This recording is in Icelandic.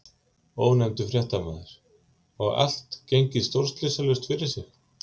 Ónefndur fréttamaður: Og allt gengið stórslysalaust fyrir sig?